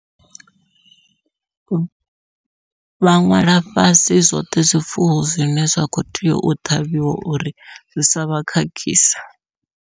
Vha ṅwala fhasi zwoṱhe zwifuwo zwine zwa kho tea u ṱhavhiwa uri zwi savha khakhise.